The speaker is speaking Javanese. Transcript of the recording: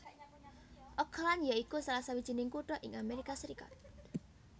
Oakland ya iku salah sawijining kutha ing Amerika Serikat